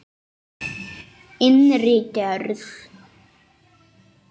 Innri gerð